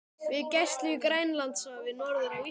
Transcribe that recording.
við gæslu í Grænlandshafi norður af Íslandi.